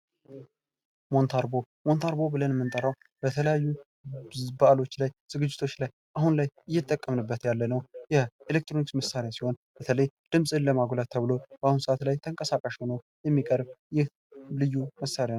ሞንታርቦ ምንታርቦ ብለን የምንጠረው በተለያዩ ባዓሎች ላይ ዝግጅቶች ላይ አሁን ላይ እየተጠቀምንበት ያለነው የኤሌክትሮኒክስ መሳሪያ ሲሆን በተለይ ድምጽን ለማጉለት ተብሎ በአሁኑ ሰዓት ላይ ተንቀሳቃሽ ሆኖ የሚቀርብ ይህ ልዩ መሣሪያ ነው።